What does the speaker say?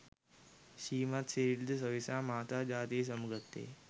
ශ්‍රීමත් සිරිල් ද සොයිසා මහතා ජාතියෙන් සමුගත්තේ ය.